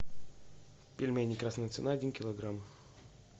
пельмени красная цена один килограмм